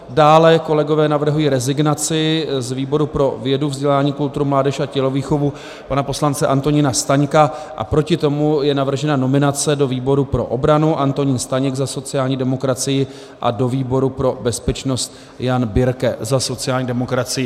Dále kolegové navrhují rezignaci z výboru pro vědu, vzdělání, kulturu, mládež a tělovýchovu pana poslance Antonína Staňka a proti tomu je navržena nominace do výboru pro obranu Antonín Staněk za sociální demokracii a do výboru pro bezpečnost Jan Birke za sociální demokracii.